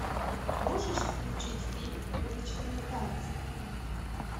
можешь включить фильм уличные танцы